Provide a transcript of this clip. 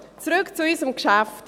Zurück zu unserem Geschäft.